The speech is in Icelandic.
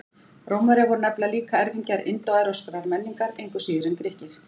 Rómverjar voru nefnilega líka erfingjar indóevrópskrar menningar, engu síður en Grikkir.